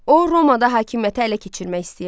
O Romada hakimiyyətə ələ keçirmək istəyirdi.